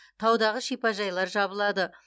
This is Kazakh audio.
таудағы шипажайлар жабылады